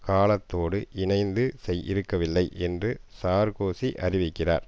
காலத்தோடு இனைந்து இருக்கவில்லை என்று சார்க்கோசி அறிவிக்கிறார்